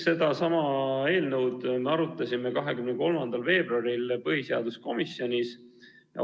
Sedasama eelnõu me arutasime 23. veebruaril põhiseaduskomisjonis.